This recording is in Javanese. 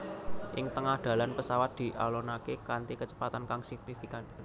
Ing tengah dalan pesawat dialonaké kanthi kecepatan kang signifikan